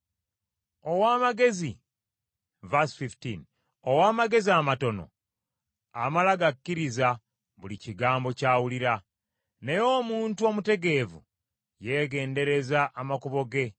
Ow’amagezi amatono amala gakkiriza buli kigambo ky’awulira, naye omuntu omutegeevu yeegendereza amakubo ge.